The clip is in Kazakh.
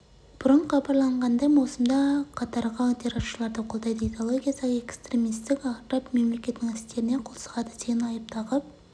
бұрын хабарланғандай маусымда қатарға терроршыларды қолдайды идеологиясы экстремистік араб мемлекетінің істеріне қол сұғады деген айып тағып